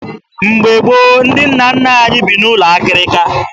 Mgbe gboo, ndị nna nna anyị bi n'ụlọ akịrịka